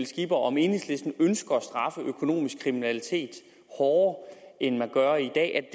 skipper om enhedslisten ønsker at straffe økonomisk kriminalitet hårdere end man gør i dag er